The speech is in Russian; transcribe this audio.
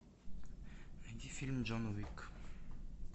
найди фильм джон уик